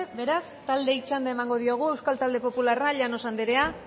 beraz taldeei txanda emango diogu euskal talde popularra llanos anderea